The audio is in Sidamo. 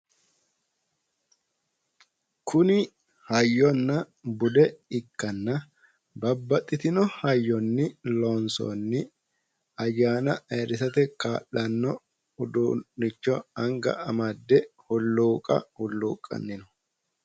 Kuni hayyonna bude ikkanna babbaxxitino hayyoni loonsoonni ayyaana ayiirrisate kaa'lanno uduunnicho anga amadde hulluuqa hulluuqqanni no.